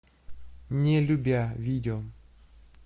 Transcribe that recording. не любя видео